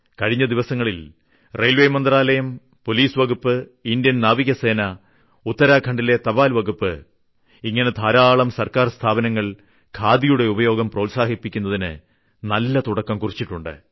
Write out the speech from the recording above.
കഴിഞ്ഞ ദിവസങ്ങളിൽ റെയിൽ മന്ത്രാലയം പൊലീസ് വകുപ്പ് ഇൻഡ്യൻ നാവികസേന ഉത്തരാഖണ്ഡിലെ തപാൽ വകുപ്പ് ഇങ്ങിനെ ധാരാളം സർക്കാർ സ്ഥാപനങ്ങൾ ഖാദിയുടെ ഉപയോഗം പ്രോത്സാഹിപ്പിക്കുന്നതിന് നല്ല തുടക്കം കുറിച്ചിട്ടുണ്ട്